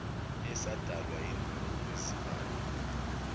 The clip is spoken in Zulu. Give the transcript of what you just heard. esadalwa yimpra ngokwezibalo